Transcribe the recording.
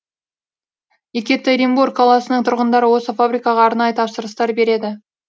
екетеринбург қаласының тұрғындары осы фабрикаға арнайы тапсырыстар береді